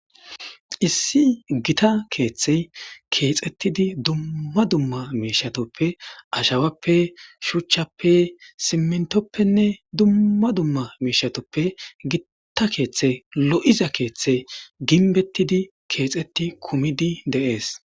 Issi gitta keeththey keexettidi dumma dumma miishshatuppe ashawappe shuuchchappe siimintoppenne dumma dumma miishshatuppe giitta keeththe lo'iza keeththe ginbettidi keexetti kummidi de'ees